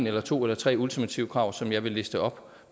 eller to eller tre ultimative krav som jeg vil liste op